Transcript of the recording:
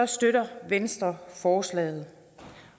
støtter venstre forslaget